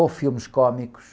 Ou filmes cômicos,